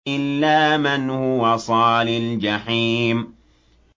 إِلَّا مَنْ هُوَ صَالِ الْجَحِيمِ